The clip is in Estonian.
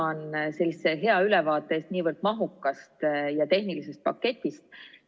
Tänan teid selle hea ülevaate eest niivõrd mahukast ja tehnilisest paketist!